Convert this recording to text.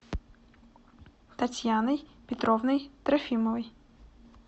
татьяной петровной трофимовой